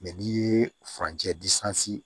Mɛ n'i ye furanjɛ